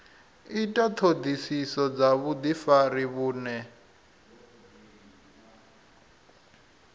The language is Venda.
ita ṱhoḓisiso dza vhuḓifari vhune